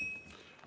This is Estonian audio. Aitäh!